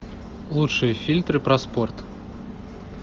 лучшие фильмы про спорт